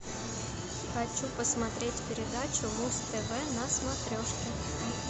хочу посмотреть передачу муз тв на смотрешке